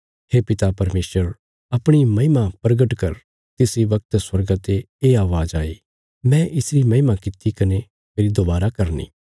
हे पिता परमेशर अपणी महिमा परगट कर तिस इ वगत स्वर्गा ते ये अवाज़ आई मैं इसरी महिमा कित्ती कने फेरी दोबारा करनी